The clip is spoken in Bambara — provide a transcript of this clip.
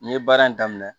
N ye baara in daminɛ